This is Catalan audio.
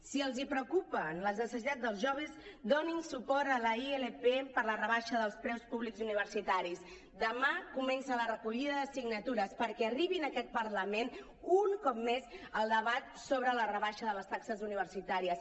si els preocupen les necessitats dels joves donin suport a la ilp per a la rebaixa dels preus públics universitaris demà comença la recollida de signatures perquè arribi en aquest parlament un cop més el debat sobre la rebaixa de les taxes universitàries